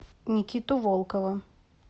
никиту волкова